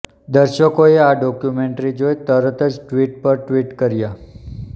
દર્શકોએ આ ડોક્યુમેન્ટરી જોઈ તરતજ ટ્વિટર પર ટ્વીટ કાર્ય